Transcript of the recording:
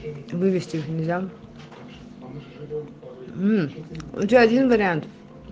вывести же нельзя мм у тебя один вариант